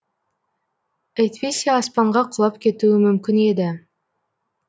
әйтпесе аспанға құлап кетуі мүмкін еді